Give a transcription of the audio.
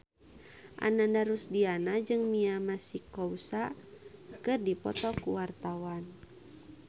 Ananda Rusdiana jeung Mia Masikowska keur dipoto ku wartawan